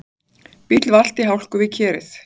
Bíll valt í hálku við Kerið